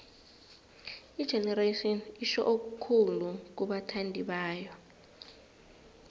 igenerations itjho okukhulu kubathandibayo